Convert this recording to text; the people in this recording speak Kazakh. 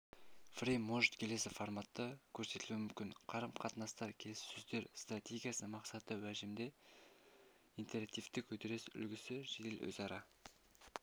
фрейм может келесі форматта көрсетілуі мүмкін қарым-қатынастар келіссөздер стратегиясы мақсатты уәждеме интерактивтік үдеріс үлгісі жедел өзара